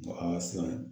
An ka siran